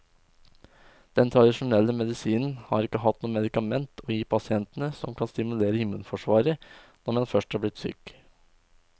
Den tradisjonelle medisinen har ikke hatt noe medikament å gi pasientene som kan stimulere immunforsvaret når man først er blitt syk.